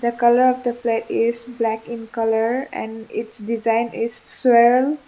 colour of plate is black in colour and it's design is .